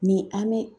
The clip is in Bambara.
Ni an bɛ